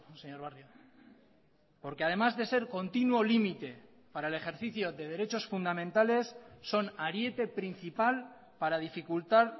señor barrio porque además de ser continuo límite para el ejercicio de derechos fundamentales son ariete principal para dificultar